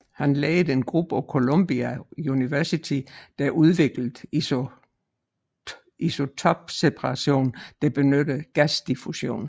Han ledede en gruppe på Columbia University der udviklede isotopseparation der benyttede gasdiffusion